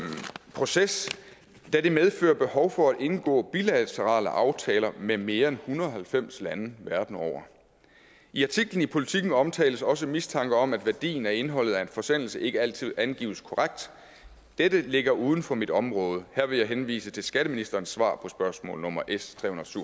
proces da det medfører behov for at indgå bilaterale aftaler med mere end en hundrede og halvfems lande verden over i artiklen i politiken omtales også en mistanke om at værdien af indholdet af en forsendelse ikke altid angives korrekt dette ligger uden for mit område her vil jeg henvise til skatteministerens svar på spørgsmål nummer s